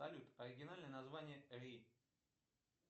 салют оригинальное название ри